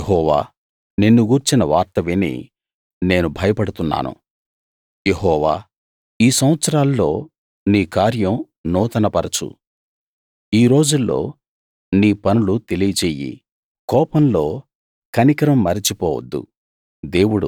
యెహోవా నిన్ను గూర్చిన వార్త విని నేను భయపడుతున్నాను యెహోవా ఈ సంవత్సరాల్లో నీ కార్యం నూతన పరచు ఈ రోజుల్లో నీ పనులు తెలియచెయ్యి కోపంలో కనికరం మరచిపోవద్దు